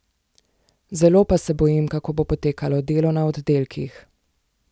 Zelo pa se bojim, kako bo potekalo delo na oddelkih.